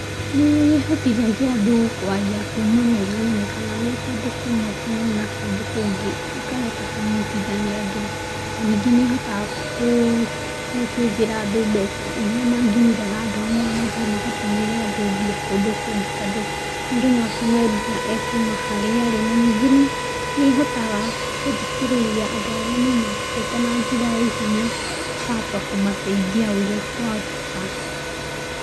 Nĩ ĩhotithagia andũ kwaria kuma me hanene kana me kũndũ kũmwe kũnene na kũndũ kũngĩ ikahota kũnyitithania andũ na ningĩ nĩ ihotaga gũcĩvĩra andũ mbeca iria mangiumire handũ hamwe mathiĩ magatũmĩre andũ mbia kũndũ kũngĩ tondũ mũndũ no atũme mbia o kuma harĩa arĩ, ningĩ nĩ ĩhotaga gũthikĩrĩria andũ arĩa me na mateta na njĩra ya ihenya, ĩkahota kũmateithia wega ũrĩa kwahoteka.